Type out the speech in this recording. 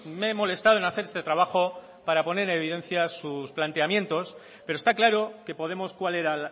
me he molestado en hacer este trabajo para poner en evidencia sus planteamientos pero está claro que podemos cuál era